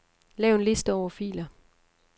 Lav en liste over filer.